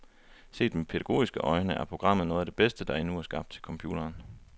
Set med pædagogiske øjne er programmet noget af det bedste, der endnu er skabt til computeren.